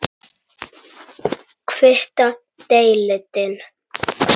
Hvíta deildin